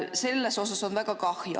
Sellest on väga kahju.